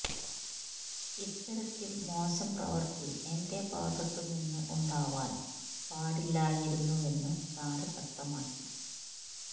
ഇത്തരത്തില് മോശം പ്രവൃത്തി എന്റെ ഭാഗത്ത് നിന്ന് ഉണ്ടാവാന് പാടില്ലായിരുന്നുവെന്ന് താരം വ്യക്തമാക്കി